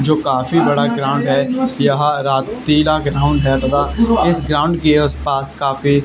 जो काफी बड़ा ग्राउंड है यहाँ रात पीला के इस ग्राउंड के अस पास काफी --